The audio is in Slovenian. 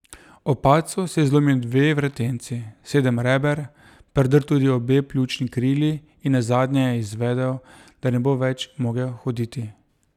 Ob padcu si je zlomil dve vretenci, sedem reber, predrl tudi obe pljučni krili in nazadnje je izvedel, da ne bo več mogel hoditi.